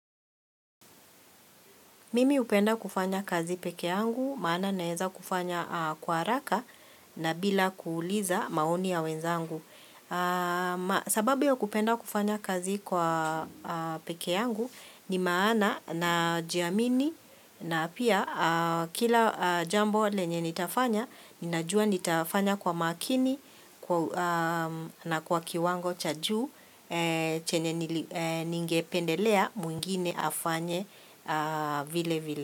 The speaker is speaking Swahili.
Mimi hupenda kufanya kazi pekee yangu, maana naeza kufanya kwa haraka na bila kuuliza maoni ya wenzangu. Sababu ya kupenda kufanya kazi kwa peke yangu ni maana na jiamini na pia kila jambo lenye nitafanya Ninajua nitafanya kwa makini na kwa kiwango cha juu chenye ningependelea mwingine afanye vile vile.